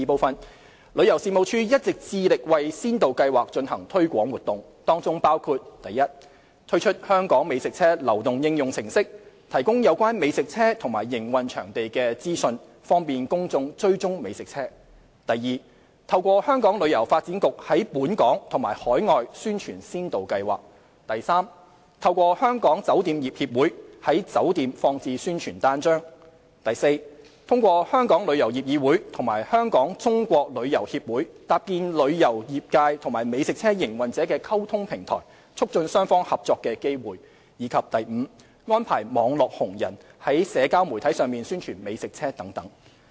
二旅遊事務署一直致力為先導計劃進行推廣活動，當中包括： 1推出"香港美食車"流動應用程式，提供有關美食車及營運場地資訊，方便公眾追蹤美食車； 2透過香港旅遊發展局在本港及海外宣傳先導計劃； 3透過香港酒店業協會，在酒店放置宣傳單張； 4通過香港旅遊業議會及香港中國旅遊協會搭建旅遊業界和美食車營運者的溝通平台，促進雙方合作的機會；及5安排"網絡紅人"在社交媒體上宣傳美食車等。